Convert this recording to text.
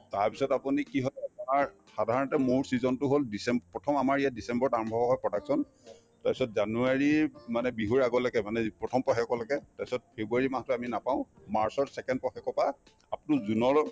তাৰপিছত আপুনি কি আপোনাৰ সাধাৰণতে মৌৰ season তো হল december প্ৰথম আমাৰ ইয়াত december ত আৰম্ভ হয় production তাৰপিছত january মানে বিহুৰ আগলৈকে মানে যি প্ৰথম পষেকলৈকে তাৰপিছত february মাহতো আমি নাপাওঁ march ৰ second পষেকৰ পাই up to june লৈ